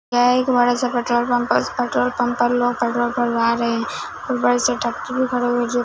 यह एक बड़ा सा पेट्रोल पंप और इस पेट्रोल पंप पर लोग पेट्रोल भरवा रहे हैं और बड़ी सी टंकी भी खड़ा हुआ जो--